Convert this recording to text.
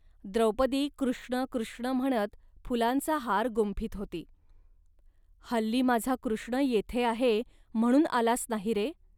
द्रौपदी कृष्ण कृष्ण म्हणत फुलांचा हार गुंफीत होती. हल्ली माझा कृष्ण येथे आहे, म्हणून आलास नाही रे